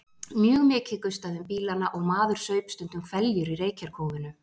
Mjög mikið gustaði um bílana og maður saup stundum hveljur í reykjarkófinu.